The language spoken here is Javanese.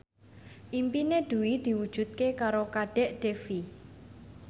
impine Dwi diwujudke karo Kadek Devi